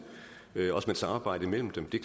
også med et samarbejde mellem dem det